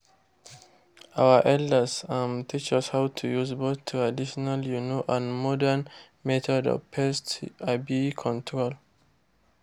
our elders um teach us how to use both traditional um and modern method of pest um control.